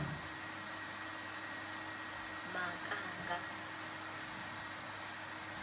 makanga